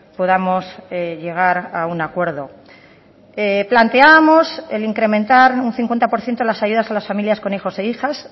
podamos llegar a un acuerdo planteábamos el incrementar un cincuenta por ciento las ayudas a las familias con hijos e hijas